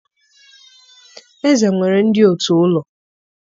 eze nwere ndị òtù ụlọ.